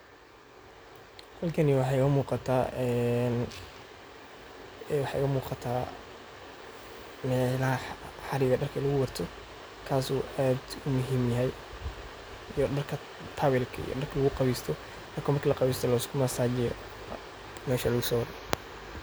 Halkani waxa igamugata een waxa igamugata hariga darka laguwarta kasoo aad umuxiim uyaxay, xalkan darka laguqawesto darka marki laguqawesto mesha laguwaroo.